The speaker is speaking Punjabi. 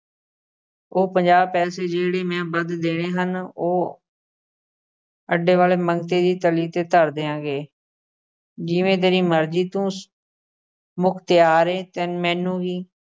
ਉਹ ਪੰਜਾਹ ਪੈਸੇ ਜਿਹੜੇ ਮੈਂ ਵੱਧ ਦੇਣੇ ਹਨ ਉਹ ਅੱਡੇ ਵਾਲੇ ਮੰਗਤੇ ਦੀ ਤਲੀ ਤੇ ਧਰ ਦਿਆਂਗੇ ਜਿਵੇਂ ਤੇਰੀ ਮਰਜ਼ੀ ਤੂੰ ਮੁਖਤਿਆਰ ਅਹ ਏ ਮੈਨੂੰ ਕੀ